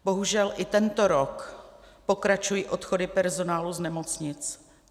Bohužel i tento rok pokračují odchody personálu z nemocnic.